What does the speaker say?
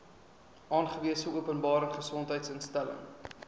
aangewese openbare gesondheidsinstelling